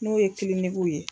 N'o ye kilinikiw ye